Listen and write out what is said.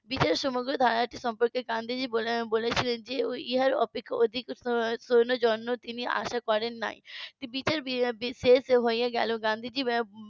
বিকাশের সমগ্র ধারাটি সম্পর্কে গান্ধীজি বলেছিলেন যে ইহার অপেক্ষা অধিক সৈন্যের জন্য তিনি আশা করেন নি . শেষ হয়ে গেলো গান্ধীজি